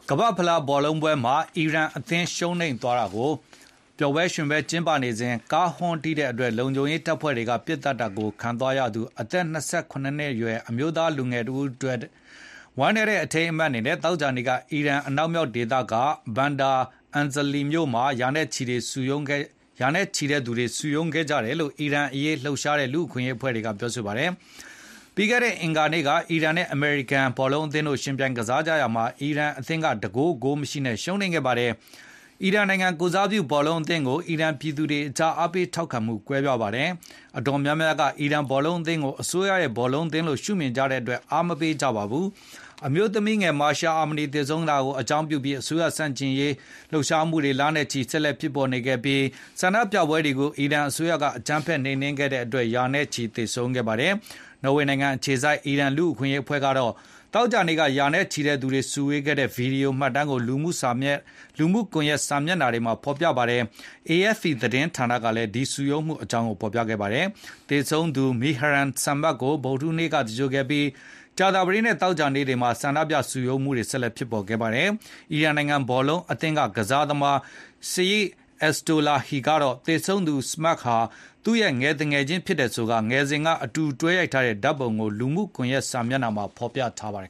ကမ္ဘာ့ဖလားဘော်လုံးပွဲမှာ အီရန်အသင်း ရှုံးနိမ့်သွားတာကို ပျေ်ာရွှင်ပွဲကျင်းပနေစဉ် ကားဟွန်းတီးတဲ့အတွက် လုံခြုံရေးတပ်ဖွဲ့တွေ ပစ်သတ်တာကိုခံသွားရသူ အသက် ၂၇ နှစ်အရွယ် အမျိုးသား လူငယ်တဦးအတွက် ဝမ်းနည်းတဲ့ အထိမ်းအမှတ်နဲ့ သောကြာနေ့က အီရန် အနောက်မြောက်ဒေသက Bandar Anzali မြို့မှာ ရာနဲ့ချီတဲ့သူတွေ စုံရုံးခဲ့ကြတယ်လို့ အီရန်အရေးလှုပ်ရှားနေတဲ့ လူ့အခွင့်အရေးအဖွဲ့ က ပြောပါတယ်။ ပြီးခဲ့တဲ့ အင်္ဂါနေ့က အီရန်နဲ့ အမေရိကန်အသင်းတို့ ယှဉ်ပြိုင်ကစားကြရာမှာ အီရန်အသင်းက ၁ ဂိုး၊ ဂိုးမရှိနဲ့ ရှုံးနိမ့်ခဲ့ပါတယ်။ အီရန်နိုင်ငံကိုယ်စားပြု ဘောလုံးအသင်းကို အီရန်ပြည်သူတွေအကြား အားပေးထောက်ခံမှု ကွဲပြားပါတယ်။ အတော်များများက အီရန်ဘောလုံးအသင်းကို အစိုးရ ဘောလုံးသင်းလို့ ရှု့မြင်ကြတဲ့အတွက် အားမပေးကြပါဘူး။ အမျိုးသမီးငယ် မာရှာ အာမနီ သေဆုံးမှုကို အကြောင်းပြုပြီး အစိုးရ ဆန်ကျင်ရေး ဆန္ဒပြပွဲ လနဲ့ချီ ဆက်လက်ဖြစ်ပေါ်နေခဲ့ပြီး၊ ဒီဆန္ဒပြပွဲတွေကို အီရန်အစိုးရက အကြမ်းဖက်နှိမ်နင်းခဲ့တဲ့အတွက် ရာနဲ့ချီ သေဆုံးခဲ့ပါတယ်။ နော်ဝေနိုင်ငံအခြေစိုက် အီရန်လူ့အခွင့်အရေးအဖွဲ့ က သောကြာနေ့ က ရာနဲ့ချီတဲ့ သူတွေစုဝေးခဲ့တဲ့ မှတ်တမ်း ဗွီဒီယိုကို လူမှုကွန်ယက် စာမျက်နှာတွေမှာ ဖေါ်ပြခဲ့သလို၊ AFP သတင်းဌာနကလည်း ဒီစုရုံးမှု အကြောင်းကိုဖေါ်ပြခဲ့ပါတယ်။ သေဆုံးသူ Mehran Samak ကို ဗုဒ္ဓဟူးနေ့က သင်္ဂြိုလ်ခဲ့ပြီး၊ ကြာသပတေးနဲ့ သောကြာနေ့တွေမှာ ဆန္ဒပြစုရုံံးမှုတွေ ဆက်လက်ဖြစ်ပေါ်ခဲ့ပါတယ်။ အီရန်နိုင်ငံ ဘောလုံးအသင်းက ကစားသမား Saeid Ezatolahi ကတော့ သေဆုံးသူ Samak ဟာ သူ့ရဲ့ငယ်သူငယ်ချင်း ဖြစ်တယ်ဆိုကာ ငယ်စဉ်ကအတူတွဲရိုက်ထားတဲ့ ဓာတ်ပုံကို လူမှုကွန်ယက် စာမျက်နှာမှာဖေါ်ပြထားပါတယ်